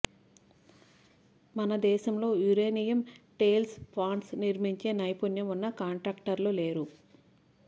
మనదేశంలో uranium tail ponds నిర్మించే నైపుణ్యం ఉన్న కాంట్రాక్టర్లు లేరు